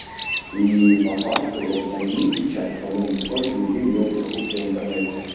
и по факту вот возьми сейчас подумай сколько людей делает покупки в интернете